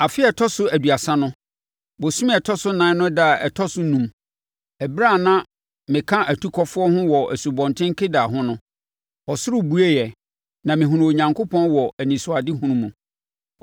Afe a ɛtɔ so aduasa no, bosome a ɛtɔ so ɛnan no ɛda a ɛtɔ so enum, ɛberɛ a na me ka atukɔfoɔ ho wɔ Asubɔnten Kebar ho no, ɔsoro bueɛ na mehunuu Onyankopɔn wɔ anisoadehunu mu.